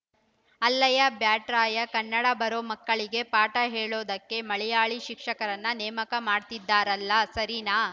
ಅಲ್ಲಯ್ಯಾ ಬ್ಯಾಟ್‌ರಾಯ ಕನ್ನಡ ಬರೋ ಮಕ್ಕಳಿಗೆ ಪಾಠ ಹೇಳೋದಕ್ಕೆ ಮಲಯಾಳಿ ಶಿಕ್ಷಕರನ್ನ ನೇಮಕ ಮಾಡ್ತಿದ್ದಾರಲ್ಲ ಸರೀನಾ